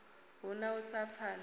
hu na u sa pfana